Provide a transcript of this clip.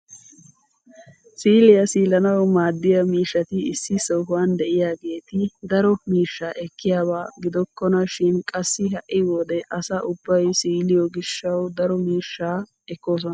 Siiliyaa siilanawu maddiyaa miishshati issi sohuwaan de'iyaageti daro miishsha ekkiyaba gidokkona shin qassi ha'i wode asa ubbay siiliyoo giishshawu daro miishshaa ekkoosona!